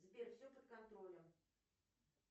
сбер все под контролем